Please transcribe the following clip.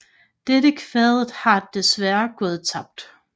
Dette kvadet har desværre gået tabt